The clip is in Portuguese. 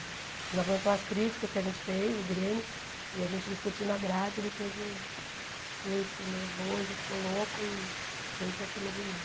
Ele não aguentou as críticas que a gente fez, o Grêmio, e a gente discutiu na grade, ele teve um surto nervoso, ficou louco e veio para cima de mim.